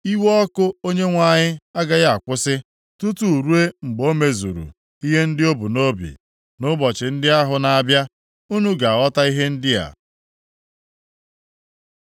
Iwe ọkụ Onyenwe anyị agaghị akwụsị tutu ruo mgbe o mezuru ihe ndị o bu nʼobi. Nʼụbọchị ndị ahụ na-abịa unu ga-aghọta ihe ndị a.